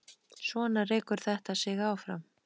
Svona rekur þetta sig áfram.